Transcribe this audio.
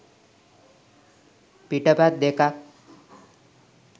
පිටපත් දෙකක්.